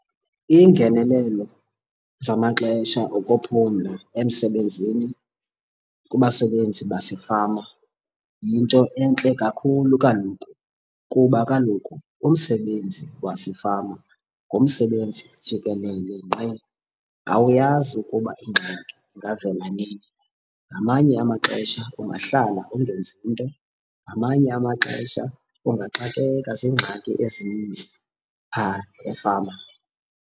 Iingenelelo zamaxesha okuphumla emsebenzini kubasebenzi basefama yinto entle kakhulu kaloku. Kuba kaloku umsebenzi wasefama ngumsebenzi jikelele ngqi, awuyazi ukuba ingxaki ingavela nini. Ngamanye amaxesha ungahlala ungenzi nto, ngamanye amaxesha ungaxakeka zingxaki ezininzi phaa efama.